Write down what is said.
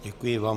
Děkuji vám.